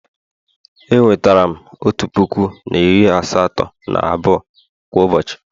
E wetara m otu puku na iri asatọ na abụọ kwa ụbọchị